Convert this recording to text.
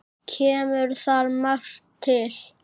Kemur þar margt til.